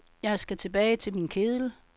Jeg skal tilbage til min kedel.